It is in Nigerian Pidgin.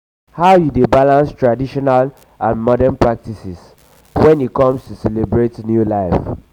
um how you dey balance traditional and modern practices when e come to celebrate a new life?